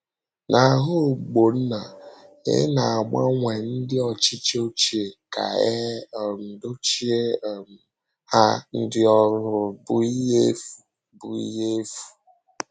N’ahụ Ogbonna, ịna-agbanwe ndị ọchịchị ochie ka e um dochie um ha ndị ọhụrụ bụ ihe efu. bụ ihe efu.